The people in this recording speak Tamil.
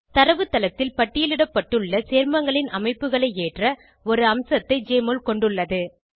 தரவுத்தளத்தில் பட்டியலிடப்பட்டுள்ள சேர்மங்களின் அமைப்புகளை ஏற்ற ஒரு அம்சத்தை ஜெஎம்ஒஎல் கொண்டுள்ளது